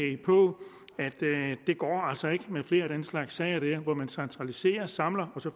ikke går med flere af den slags sager hvor man centraliserer samler og så